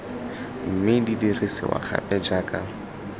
mme di dirisiwa gape jaaka